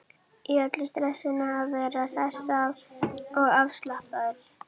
Í öllu stressinu að vera hress og afslappaður.